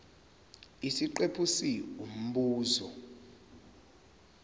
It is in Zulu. isiqephu c umbuzo